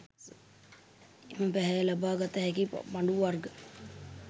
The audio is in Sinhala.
එම පැහැය ලබා ගත හැකි පඬු වර්ග